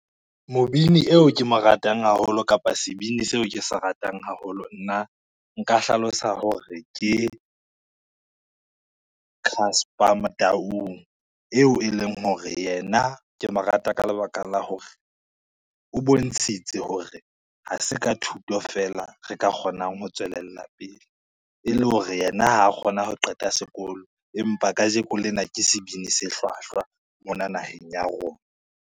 Mobini eo ke mo ratang haholo kapa sebini seo ke se ratang haholo, nna nka hlalosa hore ke Casper Motaung. Eo e leng hore yena ke mo rata ka lebaka la hore o bontshitse hore ha se ka thuto fela re ka kgonang ho tswelella pele e le hore yena ha kgona ho qeta sekolo, empa kajeko lena ke sebini se hlwahlwa mona naheng ya rona.